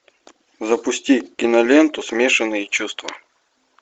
запусти киноленту смешанные чувства